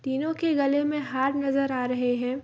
तीनो के गले में हार नजर आ रहे है।